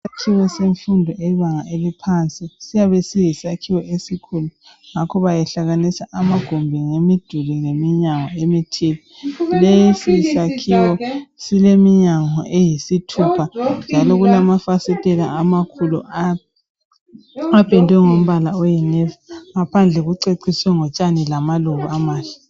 Isakhiwo semfundo yebanga eliphansi siyabe siyisakhiwo esikhulu ngakho ngakho behlanganisa amagumbi ngemiduli leminyango ethile lesi sakhiwo sileminyango eyisithupha njalo kulamafasitela amakhulu apendwe ngombala oyinevi ngaphandle kuceciswe ngotshani lamaluba amahle.